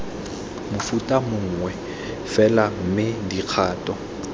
mofuta mongwe fela mme dikgato